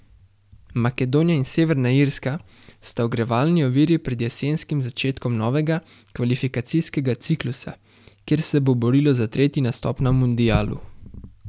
Makedonija in Severna Irska sta ogrevalni oviri pred jesenskim začetkom novega kvalifikacijskega ciklusa, kjer se bo borilo za tretji nastop na mundialu.